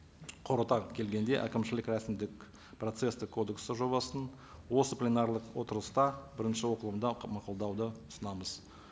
қорыта келгенде әкімшілік рәсімдік процесстік кодексі жобасын осы пленарлық отырыста бірінші оқылымда мақұлдауды ұсынамыз